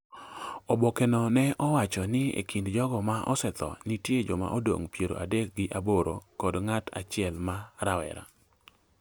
Oboke no ne owacho ni e kind jogo ma osetho nitie jomadongo piero adek gi aboro kod ng’at achiel ma rawera.